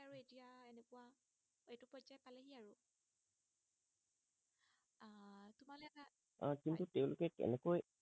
আহ হয় কিন্তু তেওঁলোকে কেনেকৈ